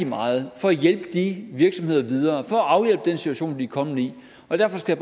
meget for at hjælpe de virksomheder videre for at afhjælpe den situation de er kommet i derfor skal